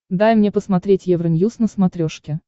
дай мне посмотреть евроньюз на смотрешке